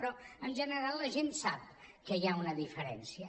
però en gene·ral la gent sap que hi ha una diferència